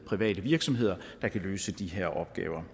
private virksomheder der kan løse de her opgaver